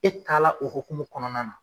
E taala o hokumu kɔnɔna na